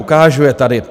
Ukážu je tady.